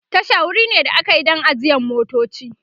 Tasha wuri ne da akayi Dan ajiyan motoci